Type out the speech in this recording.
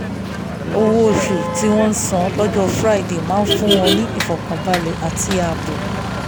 owó òṣù tí wọ́n ń san lọ́jọ́ friday máa ń fún wọn ní ìfọ̀kànbalẹ̀ àti ààbò